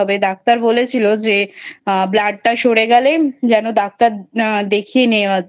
Doctor বলেছিলো যে blood টা সরে গেলে যেন Doctor দেখিয়ে নেওয়া